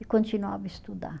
E continuava a estudar.